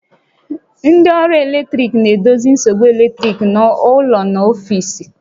Ndị ọrụ eletrik na-edozi nsogbu eletrik n'ụlọ na n'ọfiisi